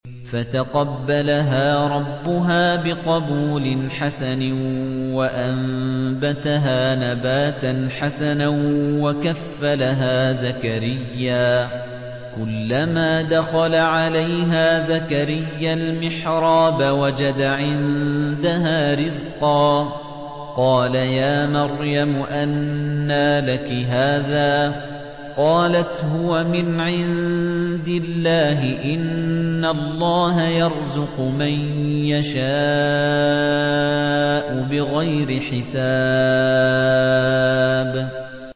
فَتَقَبَّلَهَا رَبُّهَا بِقَبُولٍ حَسَنٍ وَأَنبَتَهَا نَبَاتًا حَسَنًا وَكَفَّلَهَا زَكَرِيَّا ۖ كُلَّمَا دَخَلَ عَلَيْهَا زَكَرِيَّا الْمِحْرَابَ وَجَدَ عِندَهَا رِزْقًا ۖ قَالَ يَا مَرْيَمُ أَنَّىٰ لَكِ هَٰذَا ۖ قَالَتْ هُوَ مِنْ عِندِ اللَّهِ ۖ إِنَّ اللَّهَ يَرْزُقُ مَن يَشَاءُ بِغَيْرِ حِسَابٍ